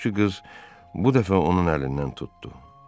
Qulluqçu qız bu dəfə onun əlindən tutdu.